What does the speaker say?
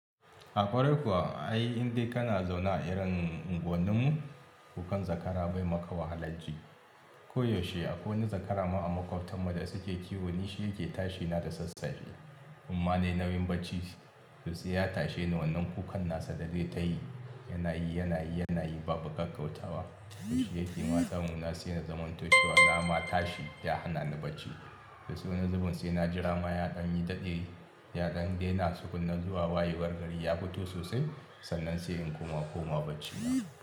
A kwarai kuwa ai indai kana zaune a irin unguwannin mu, kukan zakara bai maka wahala ji. Koyaushe akwai wani zakara ma a makwabtarmu da suke kiwo, ni shi yake tashi na da sassafe. Amma ne nauyin bacci, to sai ya tashe ni wannan kukan nasa da zai tayi, yana yi, yana yi, yana yi babu kakkautawa. To shi yake yi, mata mu na sai na zamantace wa nama tashi ta hana ni bacci. To suna zuban sai na jira mayaɗan yi ta de yaɗan dai na sukunna zuwa wayewar gari ya fito sosai, sannan sai in koma koma bacci.